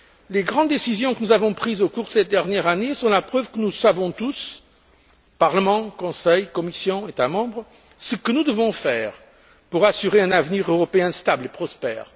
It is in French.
Les grandes décisions que nous avons prises au cours de cette dernière année sont la preuve que nous savons tous, Parlement, Conseil, Commission, États membres, ce que nous devons faire pour assurer un avenir européen stable et prospère.